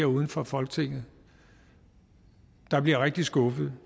uden for folketinget der bliver rigtig skuffede